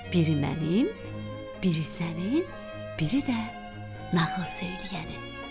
Biri mənim, biri sənin, biri də nağıl söyləyənin.